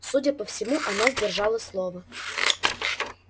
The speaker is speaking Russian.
судя по всему она сдержала слово